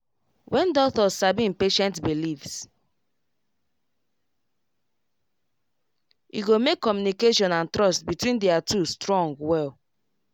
when doctor sabi him patient beliefs e go make communication and trust between their two strong well